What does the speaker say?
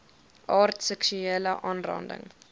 aard seksuele aanranding